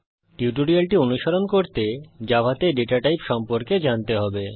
টিউটোরিয়ালটি অনুসরণ করতে জাভাতে ডেটা টাইপ সম্পর্কে জানতে হবে